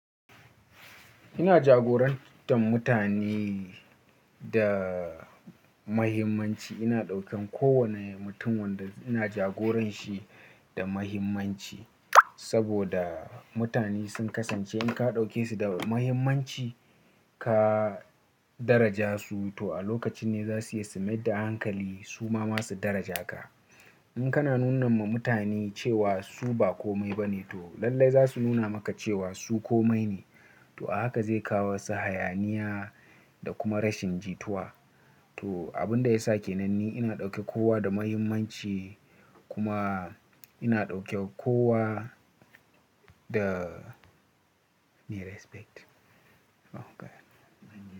Ina jagorantar mutane da muhimmanci. Ina ɗaukan kowane mutum wanda ina jagoranshi da muhimmanci saboda mutane sun kasance in ka ɗauke su da muhimmanci, ka daraja su to a lokacin ne za su iya simi da hankali su ma masu daraja ka. In kana nuna ma mutane cewa su ba kome ba ne to lallai za su nuna maka cewa su kome ne. To a haka zai kawo wasu hayaniya da kuma rashin jituwa. To abin da ya sa ke nan ne ina ɗauke kowa da muhimmanci kuma ina ɗauke kowa da ni respect. Oh God!